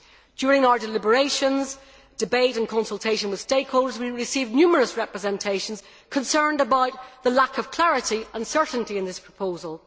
During our deliberations, debate and consultations with stakeholders, we received numerous representations concerned about the lack of clarity and certainty in this proposal.